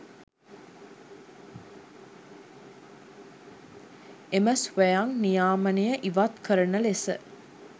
එම ස්වයං නියාමනය ඉවත් කරන ලෙස